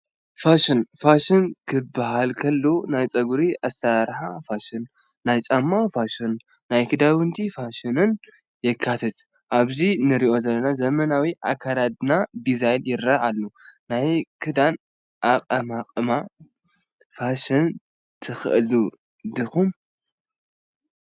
ፋሽን፡- ፋሽን ክባሃል ከሎ ናይ ጨጉሪ ኣሰራርሓ ፋሽን፣ ናይ ጫማ ፋሽን፣ ናይ ክዳውንቲ ፋሽንን የካትት፡፡ ኣብዚ ንሪኦ ዘለና ዘመናዊ ኣካደድና ዲዛይን ይረአ ኣሎ፡፡ ናይ ክዳን ኣቐማቕማ ፋሽን ተኸተልቲ ዲኹም?